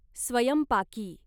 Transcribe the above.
स्वयंपाकी